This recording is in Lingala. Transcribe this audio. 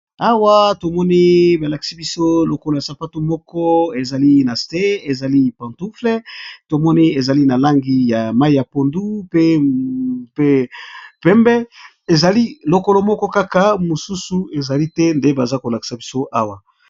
Awa tomoni balakisi biso lokolo yasapato moko ezali nase ezali pantufle tomoni ezali nalangi ya mai ya pondu pe pembe ezali lokolo moko kaka nde bazali kolakisa biso awa